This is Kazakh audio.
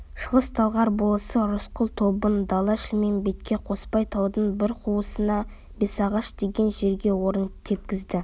шығыс-талғар болысы рысқұл тобын дала-шілмембетке қоспай таудың бір қуысына бесағаш деген жерге орын тепкізді